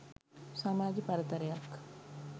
සමාජ පරතරයක්